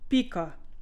Pika.